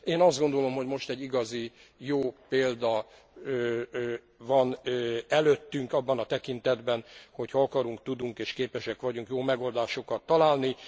Én azt gondolom, hogy most egy igazi jó példa van előttünk abban a tekintetben, hogy ha akarunk, tudunk és képesek vagyunk jó megoldásokat találni.